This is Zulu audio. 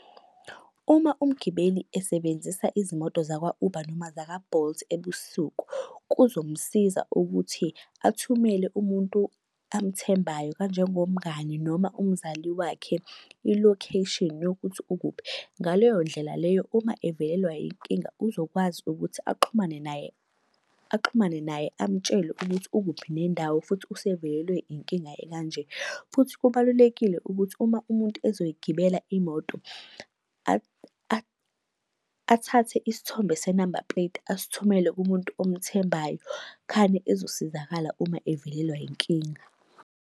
Uma umgibeli esebenzisa izimoto zakwa-Uber noma zakwa-Bolt ebusuku, kuzomsiza ukuthi athumele umuntu amethembayo kanjengomngani noma umzali wakhe i-location yokuthi ukuphi. Ngaleyo ndlela leyo uma evelelwa inkinga uzokwazi ukuthi axhumane naye, axhumane naye amtshele ukuthi ukuphi nendawo futhi usevelelwe inkinga ekanje. Futhi kubalulekile ukuthi uma umuntu ezoyigibela imoto, athathe isithombe senamba puleti asithumele kumuntu omthembayo khane ezosizakala uma evelelwa yinkinga.